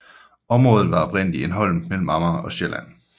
Området var oprindeligt en holm mellem Amager og Sjælland